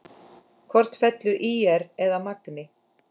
Hvort fellur ÍR eða Magni?